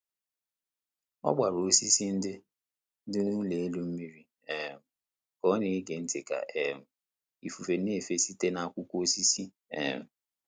Ọ gbara osisi ndị dị n'ụlọ elu mmiri um ka ọ na-ege ntị ka um ifufe na-efe site n'akwụkwọ osisi. um